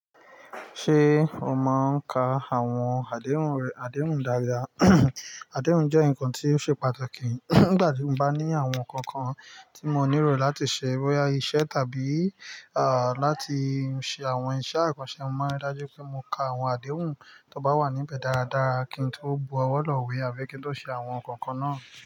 Ṣé o mọ ń ka àwọn àdéhùn rẹ̀, àdéhùn dáadáa? Àdéhùn jẹ́ ǹkan tó ṣe pàtàkì nígbàtí mo bá ní àwọn ǹkan kan tí mo nílò láti ṣe boya iṣẹ tàbí à láti ṣe àwọn iṣẹ́ àkànṣe. Mo máa rí dájú pé mo ka àwọn àdéhùn tó bá wà níbẹ̀ dáradára kí n tó bu ọwọ́ lù wé àbí kí n tó ṣe àwọn ǹkan kan náà.